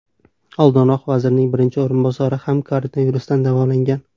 Oldinroq vazirning birinchi o‘rinbosari ham koronavirusdan davolangan.